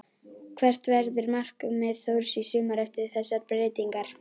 Hvert verður markmið Þórs í sumar eftir þessar breytingar?